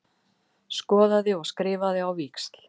Skoðaði og skrifaði á víxl.